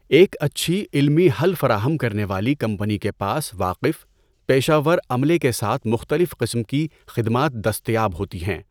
ایک اچھی، علمی حل فراہم کرنے والی کمپنی کے پاس واقف، پیشہ ور عملے کے ساتھ مختلف قسم کی خدمات دستیاب ہوتی ہیں۔